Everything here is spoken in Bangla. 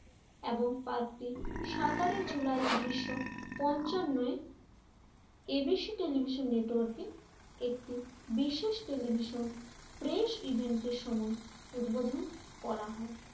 এবং পার্কটি সতেরো জুলাই উন্নিশশো পঞ্চান্নয় ABC টেলিভিশন নেটওয়ার্কে একটি বিশেষ টেলিভিশন প্রেস ইভেন্টের সময় উদ্বোধন করা হয়।